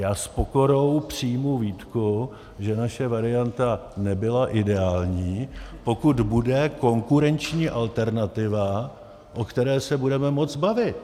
Já s pokorou přijmu výtku, že naše varianta nebyla ideální, pokud bude konkurenční alternativa, o které se budeme moct bavit.